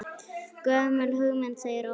Gömul hugmynd segir Ólafur Jens.